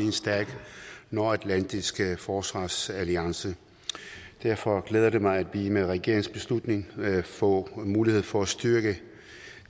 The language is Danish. i en stærk nordatlantisk forsvarsalliance derfor glæder det mig at vi med regeringens beslutning får mulighed for at styrke